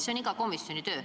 See on iga komisjoni töö.